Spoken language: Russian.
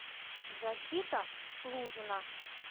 защита лужина